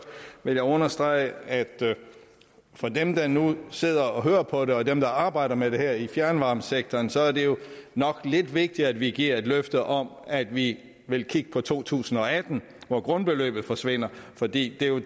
vil jeg understrege at for dem der nu sidder og hører på det og dem der arbejder med det her i fjernvarmesektoren så er det nok lidt vigtigt at vi giver et løfte om at vi vil kigge på to tusind og atten hvor grundbeløbet forsvinder for det er jo